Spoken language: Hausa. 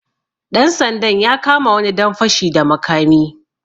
Ɗan sandan ya kama wani dan fashi da makami.